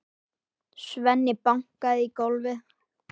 Svenni bankaði í gólfið.